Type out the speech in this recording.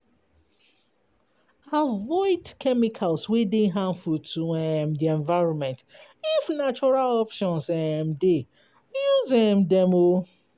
Avoid chemicals wey dey harmful to di environment, if natural options dey, use dem